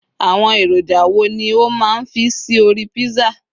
àwọn èròjà wo ni o ma n fi sí orí pizza